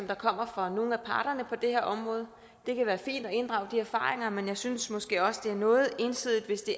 der kommer fra nogle af parterne på det her område det kan være fint at inddrage de erfaringer men jeg synes måske også det er noget ensidigt hvis det